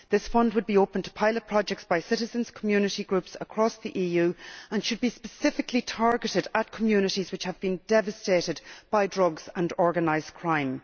This fund would be open to pilot projects by citizens' community groups across the EU, and should be specifically targeted at communities which have been devastated by drugs and organised crime.